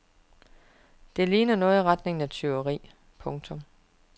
Det ligner noget i retning af tyveri. punktum